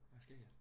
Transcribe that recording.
Hvad sker der?